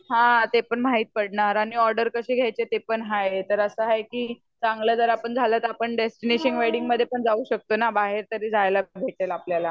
हा ते पण माहिती पडणार आणि ऑडर कशे घ्यायचे ते पण हाय तर अस हाय की चांगल जर आपण झाल तर आपण डेस्टिनेशन वेडिंगमध्ये पण जाऊ शकतो बाहेर तरी जायला भेटेल आपल्याला